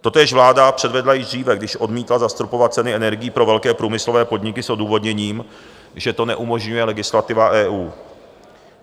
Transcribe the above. Totéž vláda předvedla již dříve, když odmítla zastropovat ceny energií pro velké průmyslové podniky s odůvodněním, že to neumožňuje legislativa EU.